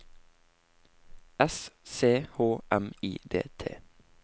S C H M I D T